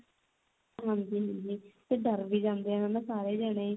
ਹਾਂਜੀ ਹਾਂਜੀ ਤੇ ਡਰ ਵੀ ਜਾਂਦੇ ਆ ਹਨਾ ਸਾਰੇ ਜਣੇ